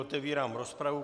Otevírám rozpravu.